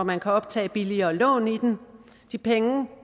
man kan optage billigere lån i den de penge